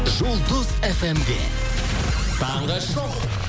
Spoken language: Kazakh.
жұлдыз фм де таңғы шоу